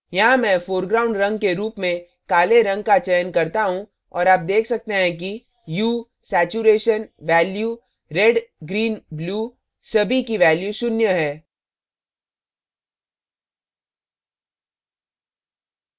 यहाँ मैं foreground रंग के रूप में काले रंग का चयन करता हूँ और आप देख सकते हैं कि hue hue saturation saturation value value red red green green blue blue सभी की value शून्य है